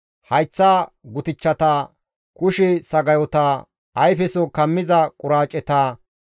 hayththa gutichchata, kushe sagayota, ayfeso kammiza quraaceta,